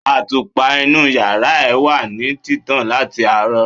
Àtùpà inú yàrá ẹ wà ní títàn láti àárọ̀.